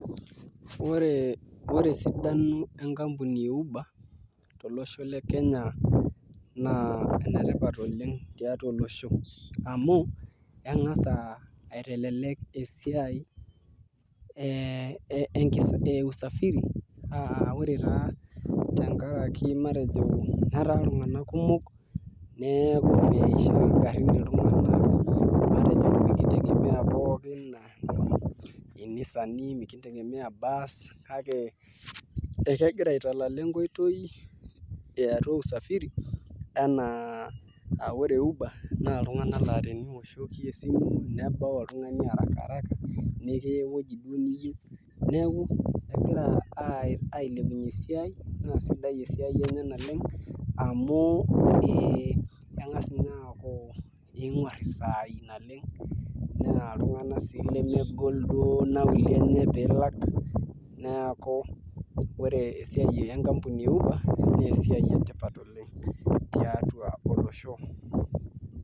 Ore esidano e nkampuni e Uber tolosho le Kenya naa enetipat oleng tiatwa olosho amu eng'as aitelelek esiai e usafiri aa ore taa tenkaraki matejo etaa iltung'anak kumok neeku meishaa ingarrin iltung'anak matejo mekintegemea pookin inisani, mekintegemea irbasi kake akegira aitalala enkoitoi e atwa usafiri enaa aa ore Uber naa iltung'anak laa teniwoshoki esimu nebau oltung'ani haraka haraka inewueji duo niyieu. Neeku egira aailepunye esiai naa sidai e siai enye naleng amu eng'as ninye aaku ing'urr isaai naleng naa iltung'anak sii lemegol duo nauli enye piilak neeku ore esiai enkampuni e Uber naa esiai sidai tiatwa olosho